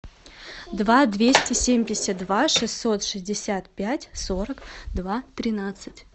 два двести семьдесят два шестьсот шестьдесят пять сорок два тринадцать